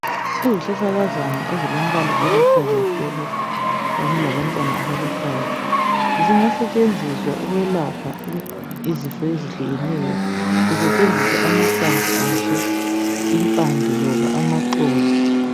Izihlahlakazana ezilombala oluhlaza tshoko kanye labantwana abaluhlaza. Zingasetshenziswa ukwelapha izifo ezihlukeneyo kusetshenziswa amahlamvu azo impande loba lamaxolo.